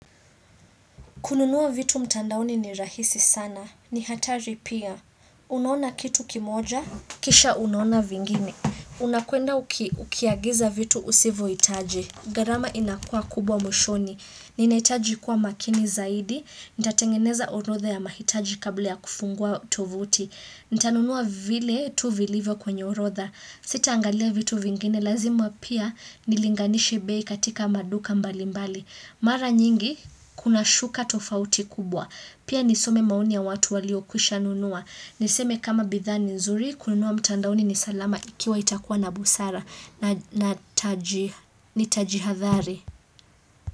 Kununua vitu mtandaoni ni rahisi sana. Ni hatari pia. Unaona kitu kimoja? Kisha unaona vingine. Unakwenda ukiagiza vitu usivyo hitaji. Gharama inakuwa kubwa mwishoni. Ninahitaji kuwa makini zaidi. Nitatengeneza orodha ya mahitaji kabla ya kufungua tovuti. Nitanunua vile tu vilivyo kwenye orodha. Sita angalia vitu vingine. Lazima pia nilinganishe bei katika maduka mbali mbali. Mara nyingi, kuna shuka tofauti kubwa. Pia nisome maoni ya watu waliokwisha nunua. Niseme kama bidhaa ni nzuri, kununua mtandaoni ni salama ikiwa itakuwa na busara. Na nitajihathari.